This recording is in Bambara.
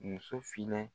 Muso finna